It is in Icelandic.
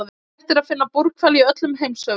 Hægt er að finna búrhvali í öllum heimshöfum.